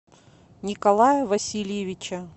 николая васильевича